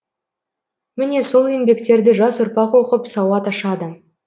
міне сол еңбектерді жас ұрпақ оқып сауат ашады